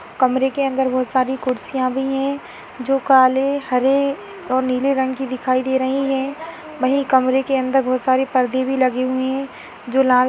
कमरे के अंदर बहोत सारी कुर्सियां भी हैं जो काले हरे और नीले रंग की दिखाई दे रही हैं। वही कमरे के अंदर बहोत सारे पर्दे भी लगे हुए हैं जो लाल --